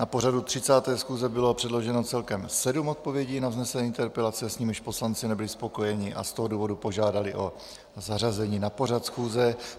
Na pořadu 30. schůze bylo předloženo celkem sedm odpovědí na vznesené interpelace, s nimiž poslanci nebyli spokojeni, a z toho důvodu požádali o zařazení na pořad schůze.